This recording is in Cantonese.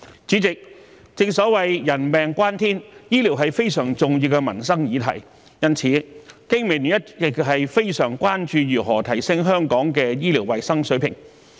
主席，正所謂人命關天，醫療是非常重要的民生議題，因此，香港經濟民生聯盟一直非常關注如何提升香港的醫療衞生水平。